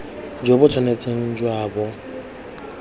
jo bo tshwanetse jwa bo